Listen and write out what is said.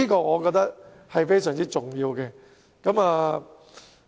我認為這是非常重要的。